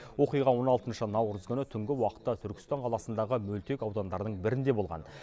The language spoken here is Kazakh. оқиға он алтыншы наурыз күні түнгі уақытта түркістан қаласындағы мөлтек аудандардың бірінде болған